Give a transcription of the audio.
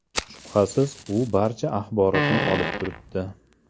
Shubhasiz, u barcha axborotni olib turibdi.